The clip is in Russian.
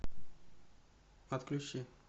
отключи